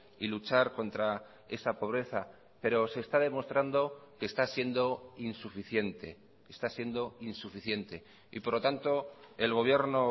y luchar contra esa pobreza pero se está demostrando que está siendo insuficiente está siendo insuficiente y por lo tanto el gobierno